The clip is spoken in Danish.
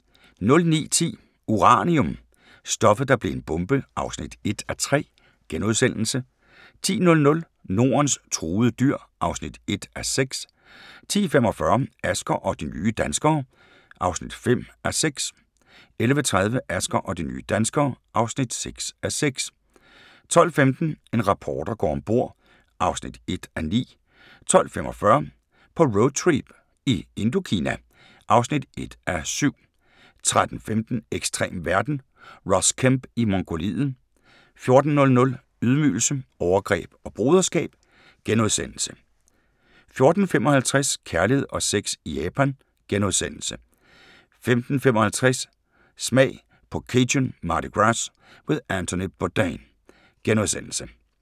09:10: Uranium – stoffet, der blev en bombe (1:3)* 10:00: Nordens truede dyr (1:6) 10:45: Asger og de nye danskere (5:6) 11:30: Asger og de nye danskere (6:6) 12:15: En reporter går om bord (1:9) 12:45: På roadtrip i Indokina (1:7) 13:15: Ekstrem verden – Ross Kemp i Mongoliet 14:00: Ydmygelse, overgreb og broderskab * 14:55: Kærlighed og sex i Japan * 15:55: Smag på Cajun Mardi Gras med Anthony Bourdain *